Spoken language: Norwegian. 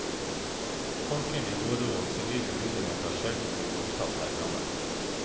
Folkelig morro og sivil ulydighet har sjelden blitt godtatt her i landet.